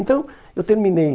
Então, eu terminei.